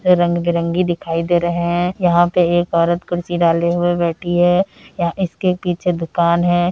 रंग बिरंगी दिखाई दे रहे है यहाँ पे एक औरत कुर्सी डाले हुए बैठी है यहाँ इसके पीछे दुकान है।